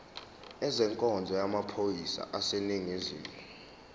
ezenkonzo yamaphoyisa aseningizimu